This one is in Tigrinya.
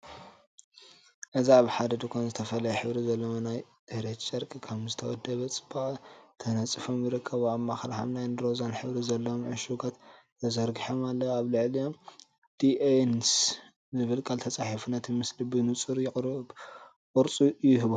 እዚ ኣብ ሓደ ድኳን ዝተፈላለየ ሕብሪ ዘለዎም ናይ ጽሬት ጨርቂ ከም ዝተወደበ ጽባቐ ተነጺፎም ይርከቡ። ኣብ ማእከል ሐምላይን ሮዛን ሕብሪ ዘለዎም ዕሹጋት ተዘርጊሖም ኣለዉ፡ ኣብ ልዕሊኦም "ዲ.ኤን.ስ" ዝብል ቃል ተጻሒፉ ነቲ ምስሊ ብንጹር ቅርጹ ይእቦ።